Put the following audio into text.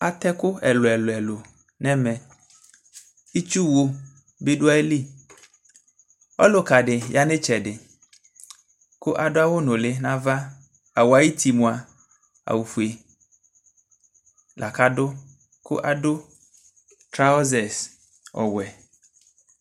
Atɛ ɛkʋ ɛlʋ ɛlʋ ɛlʋ nʋ ɛmɛ itsʋwʋ bi dʋ ayili ɔlʋkadi yanʋ itsɛdi kʋ adʋ awʋ nʋli nʋ ava awʋɛ ayʋti mʋa awʋfue kʋ adʋ traɔzɛs ɔwɛ